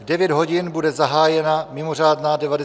V 9 hodin bude zahájena mimořádná 99. schůze.